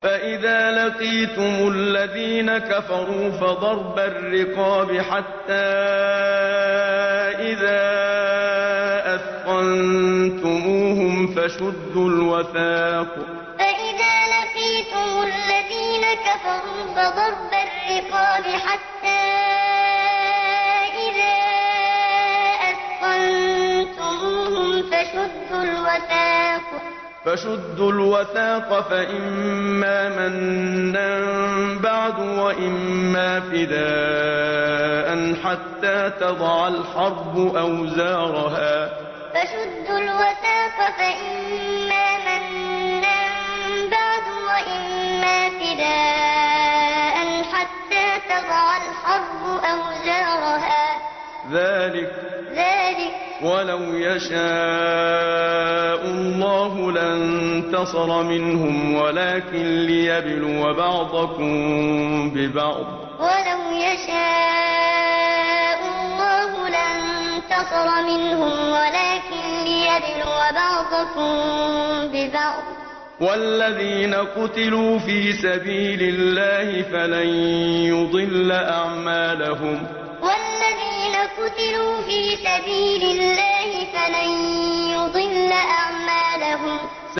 فَإِذَا لَقِيتُمُ الَّذِينَ كَفَرُوا فَضَرْبَ الرِّقَابِ حَتَّىٰ إِذَا أَثْخَنتُمُوهُمْ فَشُدُّوا الْوَثَاقَ فَإِمَّا مَنًّا بَعْدُ وَإِمَّا فِدَاءً حَتَّىٰ تَضَعَ الْحَرْبُ أَوْزَارَهَا ۚ ذَٰلِكَ وَلَوْ يَشَاءُ اللَّهُ لَانتَصَرَ مِنْهُمْ وَلَٰكِن لِّيَبْلُوَ بَعْضَكُم بِبَعْضٍ ۗ وَالَّذِينَ قُتِلُوا فِي سَبِيلِ اللَّهِ فَلَن يُضِلَّ أَعْمَالَهُمْ فَإِذَا لَقِيتُمُ الَّذِينَ كَفَرُوا فَضَرْبَ الرِّقَابِ حَتَّىٰ إِذَا أَثْخَنتُمُوهُمْ فَشُدُّوا الْوَثَاقَ فَإِمَّا مَنًّا بَعْدُ وَإِمَّا فِدَاءً حَتَّىٰ تَضَعَ الْحَرْبُ أَوْزَارَهَا ۚ ذَٰلِكَ وَلَوْ يَشَاءُ اللَّهُ لَانتَصَرَ مِنْهُمْ وَلَٰكِن لِّيَبْلُوَ بَعْضَكُم بِبَعْضٍ ۗ وَالَّذِينَ قُتِلُوا فِي سَبِيلِ اللَّهِ فَلَن يُضِلَّ أَعْمَالَهُمْ